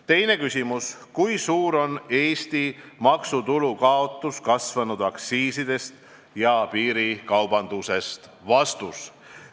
Teine küsimus: "Kui suur on Eesti maksutulu kaotus kasvanud aktsiisidest ja piirikaubandusest?